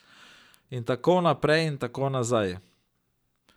In tako naprej in tako nazaj.